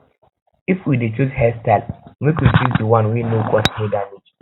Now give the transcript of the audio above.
if we de choose hairstyle make we choose di one wey no cause hair damage